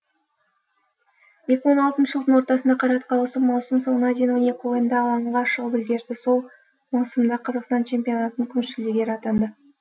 екі мың он алтыншы жылдың ортасында қайратқа ауысып маусым соңына дейін он екінші ойында алаңға шығып үлгерді сол маусымда қазақстан чемпионатының күміс жүлдегері атанды